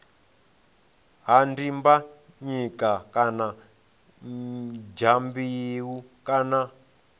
ha dimbanyika kana dyambeu kana